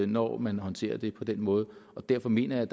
når man håndterer det på den måde derfor mener jeg